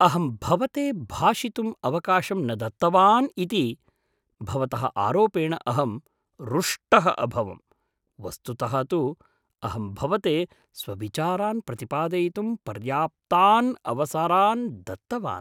अहं भवते भाषितुम् अवकाशं न दत्तवान् इति भवतः आरोपेण अहं रुष्टः अभवं, वस्तुतः तु अहं भवते स्वविचारान् प्रतिपादयितुं पर्याप्तान् अवसरान् दत्तवान्।